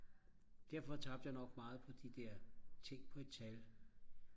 derfor tabte jeg nok meget på de der tænk på et tal